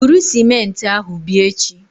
Buru sịmentị ahụ bịa echi!